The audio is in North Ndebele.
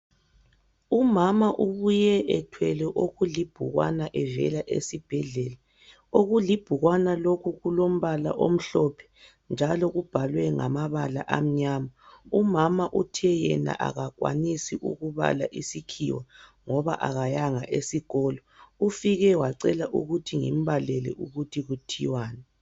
Umama ubuye ethwele okulibhukwana evela esibhedlela. Okulibhukwana lokhu kulombala omhlophe njalo kubhalwe ngamabala amnyama. Umama uthe yena akakwanisi ukubala isikhiwa ngoba akayanga esikolo. Ufike wacela ukuthi ngimbalele ukuthi kuthiwani.